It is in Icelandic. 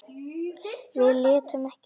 Við létum ekkert stoppa okkur.